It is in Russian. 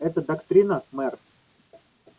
эта доктрина мэр